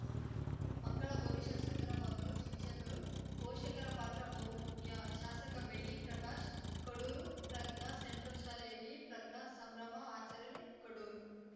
ಮಕ್ಕಳ ಭವಿಷ್ಯ ಸುಂದರವಾಗಲು ಶಿಕ್ಷಕರು ಪೋಷಕರ ಪಾತ್ರ ಬಹು ಮುಖ್ಯ ಶಾಸಕ ಬೆಳ್ಳಿ ಪ್ರಕಾಶ್‌ ಕಡೂರು ಪ್ರಜ್ಞಾ ಸೆಂಟ್ರಲ್‌ ಶಾಲೆಯಲ್ಲಿ ಪ್ರಜ್ಞಾ ಸಂಭ್ರಮ ಆಚರಣೆ ಕಡೂರು